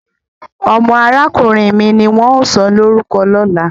Omo arakunrin mi ni won o sọlorukọ lola.